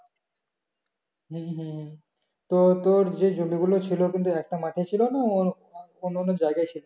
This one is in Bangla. হম হম তো তোর যে জমিগুলো ছিল একটা মাঠে ছিল না অন্য অন্য জায়গায় ছিল